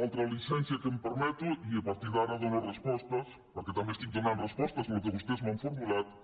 l’altra llicència que em permeto i a partir d’ara dono respostes perquè també estic donant respostes al que vostès m’han formulat